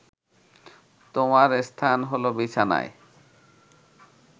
তোমার স্থান হলো বিছানায়